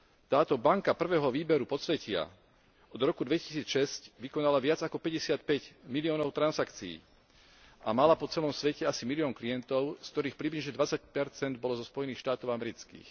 Táto banka prvého výberu podsvetia od roku 2006 vykonala viac ako päťdesiatpäť miliónov transakcií a mala po celom svete asi milión klientov, z ktorých približne 20 bolo zo Spojených štátov amerických.